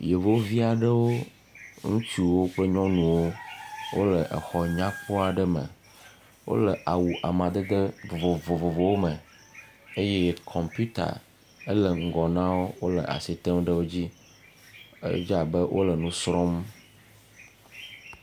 Yevuvi aɖewo, ŋutsuwo kple nyɔnuwo wole xɔ nyakpɔ aɖe me. Wole awu amadede vovovowo me eye kɔmpita hele ŋgɔ na wo wole asi tem ɖe wo dzi. Edze abe wole nu srɔ̃m.